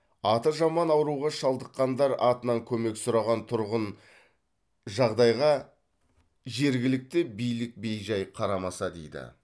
аты жаман ауруға шалдыққандар атынан көмек сұраған тұрғын жағдайға жергілікті билік бей жай қарамаса дейді